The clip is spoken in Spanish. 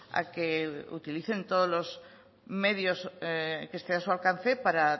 a que utilicen todos los medios que estén a su alcance para